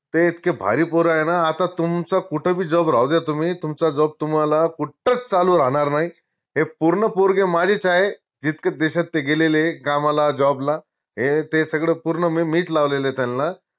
ते इतके भारी पोर आय ना आता तुमचं कुठं बी job राहूद्या तुम्ही तुमचा job तुम्हाला कुटच चालू राहनार नाई हे पूर्ण पोरगे माझेच आहे जितक्या देशात ते गेलेले कामाला job ला हे ते सगड पूर्ण मीच लावलेलंय त्यांना